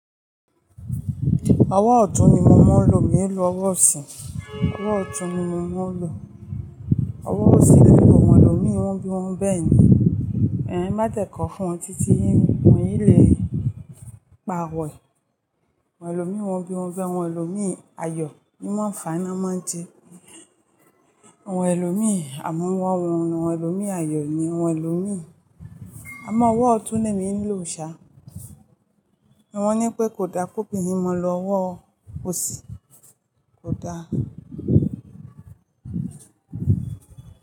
Ọwọ́ ọ̀tún ni mo máa ń lò. Mi ò ní lo ọwọ́ ọ̀sìn. Ọwọ́ ọ̀tún ni mo máa ń lò. Ọwọ́ ọ̀sìn ni àwọn ẹlòmíràn máa ń lo bí wọ́n bi woń bẹ́ẹ̀ ni. Má dẹ̀kọ́ fún un títí ẹ́ yín wọ́n yìí lè pa wẹ̀. Àwọn ẹlòmíràn bí wọ́n be, àwọn ẹlòmí ayọ̀ ni wọ́n fa'na máa ń jẹ. Àwọn ẹlòmíràn, àmọ́ àwọn ẹlòmíràn ayọ̀ ni àwọn ẹlòmíràn. Àmọ́ ọwọ́ ọ̀tún ni èmi ń lò ṣá. Wọ́n ní pé kò da ki obìnrin mọ lọ ọwọ́ ọ̀sìn, kò da.